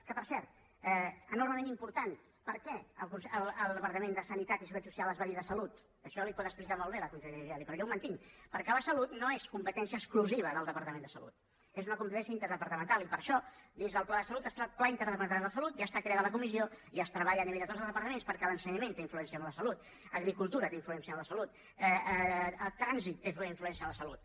que per cert enormement important per què el departament de sanitat i seguretat social es va dir de salut això li ho pot explicar molt bé la consellera geli però jo ho mantinc perquè la salut no és competència exclusiva del departament de salut és una competència interdepartamental i per això dins del pla de salut està el pla interdepartamental de salut ja està creada la comissió i es treballa a nivell de tots els departaments perquè l’ensenyament té influència en la salut l’agricultura té influència en la salut el trànsit té influència en la salut